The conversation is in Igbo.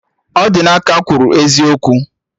Odinaka ekwuru eziokwu?